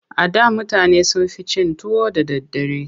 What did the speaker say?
A da mutane sun fi cin tuwo da daddare.